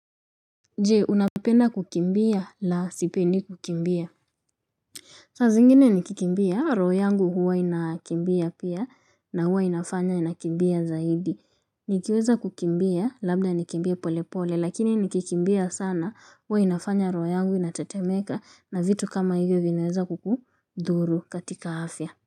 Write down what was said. Je unapenda kukimbia la sipendi kukimbia. Saa zingine nikikimbia roho yangu huwa inakimbia pia na huwa inafanya inakimbia zaidi nikiweza kukimbia labda nikimbie pole pole lakini nikikimbia sana huwa inafanya roho yangu inatatemeka na vitu kama hivyo vinaweza kukudhuru katika afya.